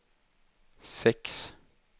sex